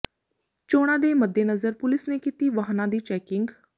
ਚੋਣਾਂ ਦੇ ਮੱਦੇਨਜ਼ਰ ਪੁਲਿਸ ਨੇ ਕੀਤੀ ਵਾਹਨਾਂ ਦੀ ਚੈਕਿੰਗ